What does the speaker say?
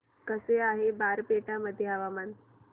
कसे आहे बारपेटा मध्ये हवामान